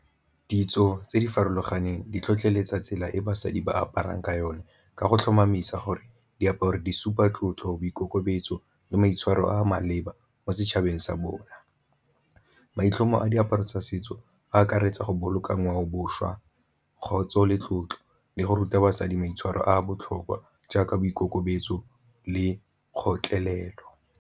Ditso tse di farologaneng di tlhotlheletsa tsela e basadi ba aparang ka yone ka go tlhomamisa gore diaparo di supa tlotlo, boikokobetso le maitshwaro a maleba mo setšhabeng sa bona. Maitlhomo a diaparo tsa setso a akaretsa go boloka ngwaoboswa, kgotsa le tlotlo le go ruta basadi maitshwaro a botlhokwa jaaka boikokobetso le kgotlelelo.